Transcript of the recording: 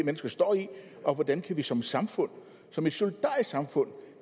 mennesker står i og hvordan vi som samfund som et solidarisk samfund